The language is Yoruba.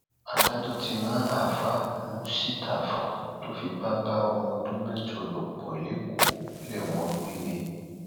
adájọ ti ran aafàá muistapha tó fipá bá ọmọ ọdún mẹjọ lò pọ lẹkọọ lẹwọn gbére